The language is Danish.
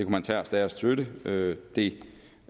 man tage at støtte det det